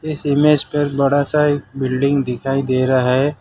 इस इमेज पर बड़ा सा एक बिल्डिंग दिखाई दे रहा है।